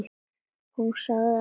Hún sagði allt í lagi.